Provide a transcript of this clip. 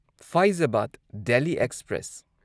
Faizabad Delhi express